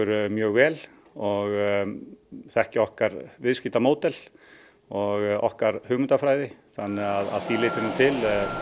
mjög vel og þekkja okkar viðskiptamódel og okkar hugmyndafræði þannig að að því leytinu til